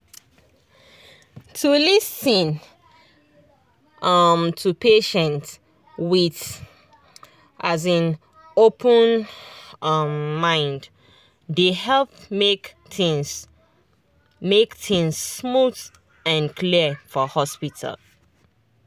to lis ten um to patient with um open um mind dey help make things make things smooth and clear for hospital.